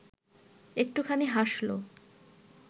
একটুখানি হাসল